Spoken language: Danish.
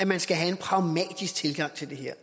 man skal have en pragmatisk tilgang til det her